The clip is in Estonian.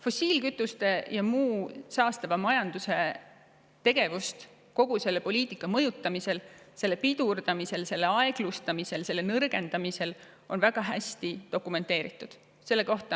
Fossiilkütuste ja muu saastava majanduse tegevust on kogu selle poliitika mõjutamiseks, pidurdamiseks, aeglustamiseks ja nõrgendamiseks väga hästi dokumenteeritud.